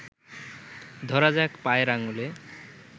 ধরা যাক পায়ের আঙুলে